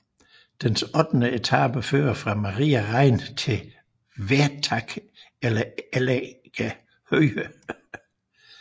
Dens ottende etape fører fra Maria Rain til Wertach over Elleger Höhe